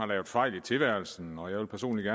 lavet fejl i tilværelsen og jeg vil personligt